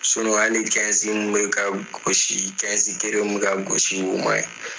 hali mun bi ka gosi kelen mi ka gosi, o maɲi.